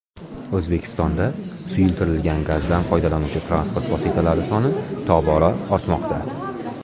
O‘zbekistonda suyultirilgan gazdan foydalanuvchi transport vositalari soni tobora ortmoqda.